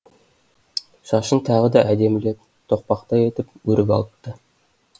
шашын тағы да әдемілеп тоқпақтай етіп өріп алыпты